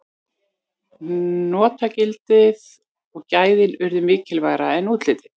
notagildið og gæðin urðu mikilvægara en útlitið